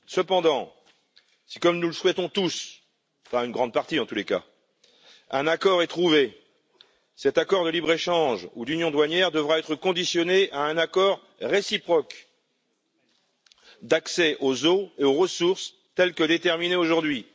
Cependant, si, comme nous le souhaitons tous en tout cas une grande partie d'entre nous un accord est trouvé, cet accord de libre échange ou d'union douanière devra être conditionné à un accord réciproque d'accès aux eaux et aux ressources tel qu'il est fixé aujourd'hui.